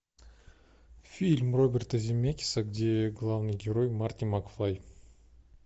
фильм роберта земекиса где главный герой марти макфлай